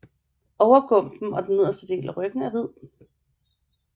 Overgumpen og den nederste del af ryggen er hvid